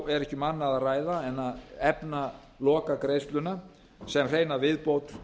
er ekki um annað að ræða en að efna lokagreiðsluna sem hreina viðbót